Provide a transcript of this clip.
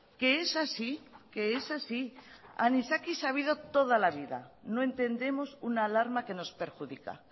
que es así que es así anisakis ha habido toda la vida no entendemos una alarma que nos perjudica